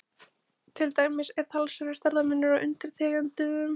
Til dæmis er talsverður stærðarmunur á undirtegundunum.